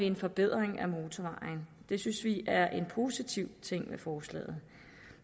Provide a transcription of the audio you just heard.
en forbedring af motorvejen det synes vi er en positiv ting ved forslaget